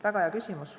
Väga hea küsimus.